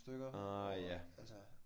Ah ja